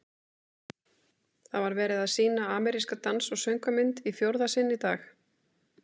Það var verið að sýna ameríska dans- og söngvamynd í fjórða sinn í dag.